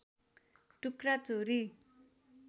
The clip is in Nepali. टुक्रा चोरी